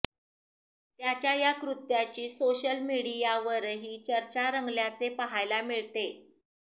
त्याच्या या कृत्याची सोशल मीडियावरही चर्चा रंगल्याचे पाहायला मिळते